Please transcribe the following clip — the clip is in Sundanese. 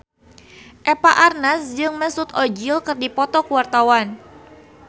Eva Arnaz jeung Mesut Ozil keur dipoto ku wartawan